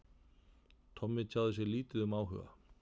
Tommi tjáði sig lítið um áhuga